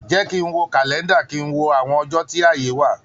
Jẹ́ kí ń wo kàlẹ́ńdà, kí ń wo àwọn ọjọ́ tí ààyè wà.